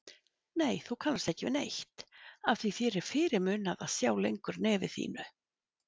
Nei, þú kannast ekki við neitt, afþví þér er fyrirmunað að sjá lengur nefi þínu.